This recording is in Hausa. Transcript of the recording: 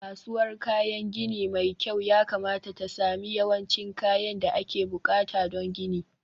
kasuwar kayan gini mai kyau yakamata ta sami yawancin kayan da ake buƙata don gini